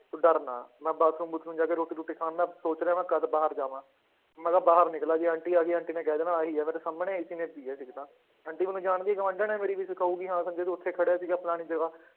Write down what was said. ਤੂੰ ਡਰ ਨਾ ਮੈਂ ਬਾਥਰੂਮ ਬੂਥਰੂਮ ਜਾ ਕੇ ਰੋਟੀ ਰੂਟੀ ਖਾਣ ਮੈਂ ਸੋਚ ਰਿਹਾ ਮੈਂ ਕਦ ਬਾਹਰ ਜਾਵਾਂ ਮੈਂ ਕਿਹਾ ਬਾਹਰ ਨਿਕਲਾਂ ਜੇ ਆਂਟੀ ਆ ਗਈ ਆਂਟੀ ਨੇ ਕਹਿ ਦੇਣਾ ਆਹੀ ਆ ਮੇਰੇ ਸਾਹਮਣੇ ਇਸੀ ਨੇ ਪੀ ਹੈ ਸਿਗਰਟਾਂ ਆਂਟੀ ਮੈਨੂੰ ਜਾਣਦੀ ਗੁਆਂਢਣ ਹੈ ਮੇਰੀ ਵੀ ਕਹੇਗੀ ਹਾਂ ਸੰਜੇ ਤੂੰ ਉੱਥੇ ਖੜਿਆ ਸੀਗਾ ਫਲਾਣੀ ਜਗ੍ਹਾ